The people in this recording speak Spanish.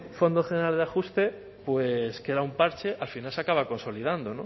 fondo general de ajuste pues que era un parche al final se acaba consolidando